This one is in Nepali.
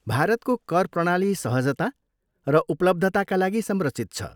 भारतको कर प्रणाली सहजता र उपलब्धताका लागि संरचित छ।